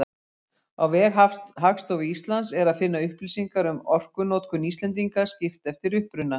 Á vef Hagstofu Íslands er að finna upplýsingar um orkunotkun Íslendinga, skipt eftir uppruna.